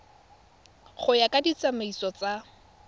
go ya ka ditsamaiso tsa